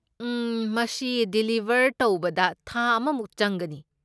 ꯎꯝ, ꯃꯁꯤ ꯗꯤꯂꯤꯕꯔ ꯇꯧꯕꯗ ꯊꯥ ꯑꯃꯃꯨꯛ ꯆꯪꯒꯅꯤ꯫